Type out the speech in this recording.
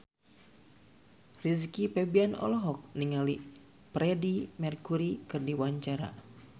Rizky Febian olohok ningali Freedie Mercury keur diwawancara